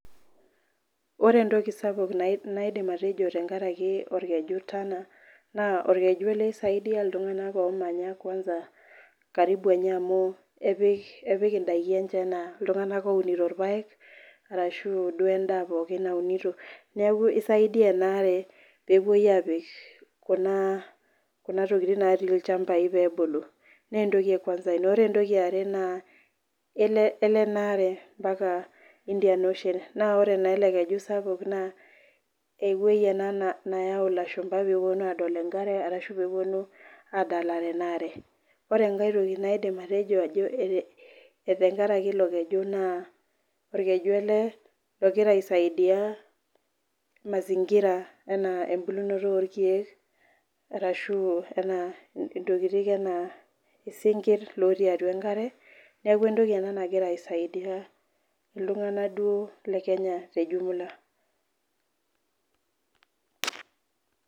Ore entoki sapuk naidim atejo tenkaraki olkeju tana. naa olkeju ele oisaidia iltunganak oo manya karibu enye, amu epik idaiki enye, amu iltunganak oinoto ilpaek arashu duo edaa pookin naunito neeku isaidia ena are peepuo apik, Kuna tokitin natii ilchampai peebulu, naa entoki, e kuansa ina . Ore entoki yiare naa elo ena are mpaka, Indian ocean naa ore naa ele keju sapuk naa ewueji ena neyau ilashumba pee epuonu aadol enkare ashu peepuonu aadalare ena are ore enkae toki naidim atejo, tenkaraki ilo keju, naa orkenu ele logira aisaidia, mazingira anaa ebulunoto orkeek arshu anaa ntokitin ena isinkir lotii atua enkare, neeku entoki ena nagira aisaidia, iltunganak duo le kenye te jumula.